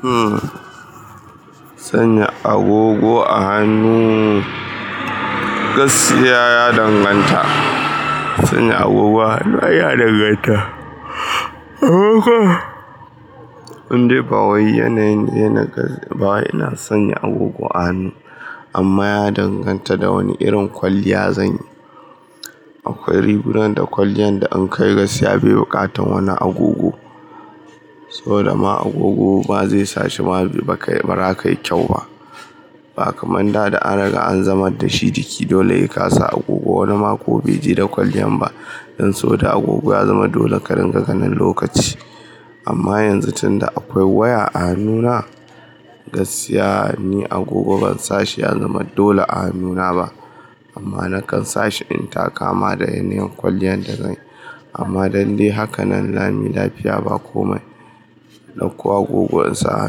Hmm, sanya agogo a hannu. Gaskiya ya danganta. Sanya agogo a hannu, ai ya danganta. Indai ba wai yanayin yanaga ba wai ina son agogo a hannu amma ya danganta da wane irin kwalliya zan yi. Akwai rigunan da kwalliyan da in kai gaskiya bai buƙatan wani agogo. Saboda ma agogo ba zai sa shima ba kai, ba ra kai kyau ba. Ba kaman da da an riga an zamar da shi jiki dole he kasa agogo. Wani ma ko bai je da kwalliyan ba. Dan so da agogo ya zama dole karinga ganin lokaci. Amma yanzu tunda akwai waya a hannuna, gaskiya ni agogo ban sashi ya zama dole a hannuna ba. Amma na kan sashi in ta kama da yanayin kwalliyan da zan. Amma dalle haka nan lami lafiya ba komai, in dauko agogon insa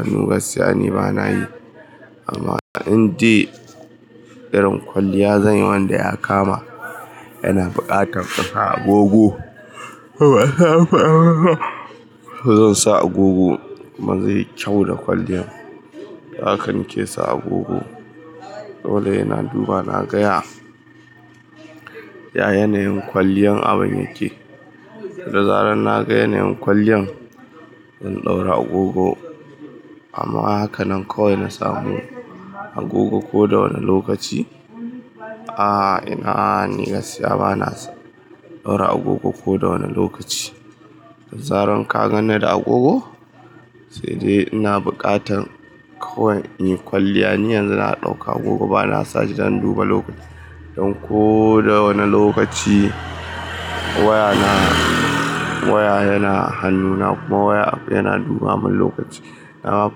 hannu gaskiya ni bana yi. Amma indai irin kwalliya zan yi wanda ya kama yana buƙatar kasa agogo, zan sa agogo. Kuma zai yi kyau da kwalliyan. Haka nike sa agogo. Dole hena duba naga ya, ya yanayin kwalliyan abin yake. Da zaran na ga yanayin kwalliyan, zan ɗaura agogo. Amma haka nan kawai na samu agogo ko da wane lokaci? A'a, ina, ni gaskiya bana ɗaura agogo ko da wane lokaci. Da zaran ka ganni da agogo, sai dai ina buƙatan kawai in yi kwalliya. Ni yanzu na ɗauka agogo bana sashi don duba lokaci. Don ko da wane lokaci waya na, waya yana hannuna kuma waya yana duba mun lokaci. Na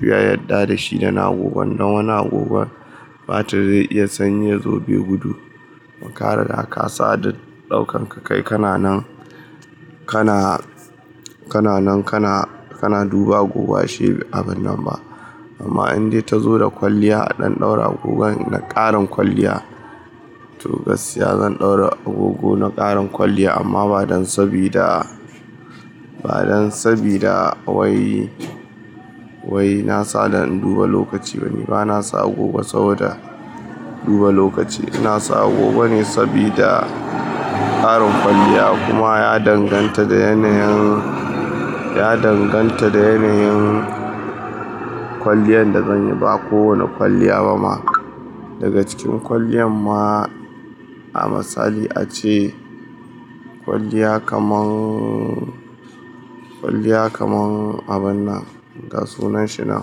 fiye yadda da shi da na agogon. Dan wani agogon batir zai iya sanyi yazo bai gudu. Kuma riga ka sa don ɗaukan ka kai kana nan, kana, kana nan kana, kana duba agogo ashe abin nan ba. Amma indai ta zo da kwalliya a dan ɗaura agogon na ƙarin kwalliya, to gaskiya zan ɗaura agogo na ƙarin kwalliya amma ba don sabida, ba don sabida wai, wai na sa don in duba lokaci ba ne. Bana sa agogo saboda duba lokaci. Ina sa agogo ne sabida ƙarin kwalliya kuma ya danganta da yanayin, ya danganta da yanayin kwalliyan da zan yi ba ko wane kwalliya ba ma. Daga cikin kwalliyan ma a misali ace kwalliya kaman, kwalliya kaman abin nan, ga sunan shi nan.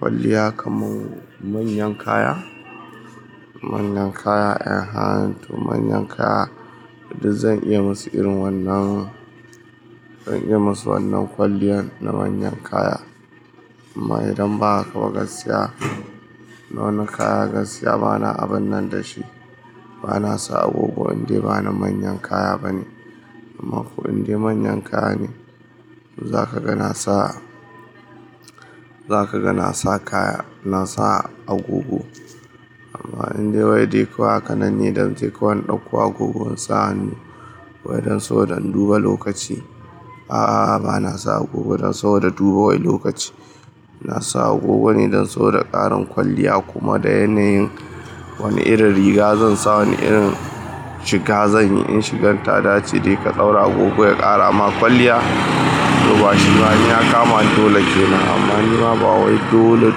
Kwalliya kaman manyan kaya? Manyan kaya 'yan han to manyan kaya. Duk zan iya musu irin wannan, zan iya musu wannan kwalliyan na manyan kaya. Amma idan ba haka ba gaskiya, na wani kaya gaskiya bana abin nan da shi. Bana sa agogo indai bana manyan kaya bane. Amma ko indai manyan kaya ne, za ka ga na sa, za ka ga na sa kaya, na sa agogo. Amma indai wai dai kawai haka nan ne dan je kawai in ɗauko agogon insa hannu wai don saboda in duba lokaci. A'a, bana sa agogo don saboda duba wai lokaci. Na sa agogo ne don so da ƙarin kwalliya kuma da yanayin wani irin riga zan sa wani irin shiga zan yi. In shigan ta dace dai ka ɗaura agogo ya ƙara amma kwalliya to bashi ma in ya kama dole ke nan amma ni ma ba wai dole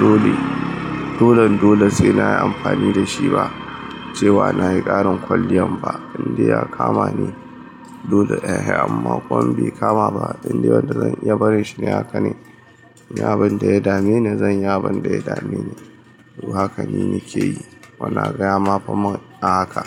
dole, dolan dole sai nayi amfani da shi ba cewa nayi ƙarin kwalliyan ba indai ya kama ne. Dole ehe amma komai bai kama ba indai wadda zan iya bari shi ne haka ne. Ni abin da ya dame ni zan yi abin da ya dame ni. To haka ne nake yi. Bana gaya ma fa min a haka.